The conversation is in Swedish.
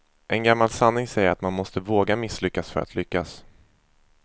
En gammal sanning säger att man måste våga misslyckas för att lyckas.